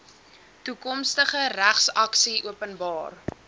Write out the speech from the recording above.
toekomstige regsaksie openbaar